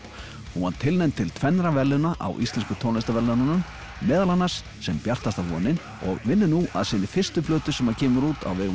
hún var tilnefnd til tvennra verðlauna á Íslensku tónlistarverðlaununum meðal annars sem bjartasta vonin og vinnur nú að sinni fyrstu plötu sem kemur út á vegum